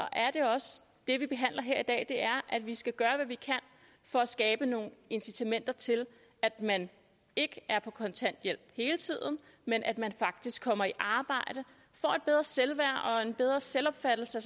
det vi behandler her i dag er at vi skal gøre hvad vi kan for at skabe nogle incitamenter til at man ikke er på kontanthjælp hele tiden men at man faktisk kommer i arbejde får et bedre selvværd og en bedre selvopfattelse